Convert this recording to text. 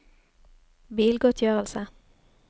bilgodtgjørelse